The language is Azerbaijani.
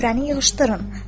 Süfrəni yığışdırın.